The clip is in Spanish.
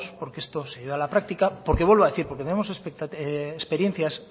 porque esto se lleve a la práctica porque vuelvo a decir porque tenemos experiencias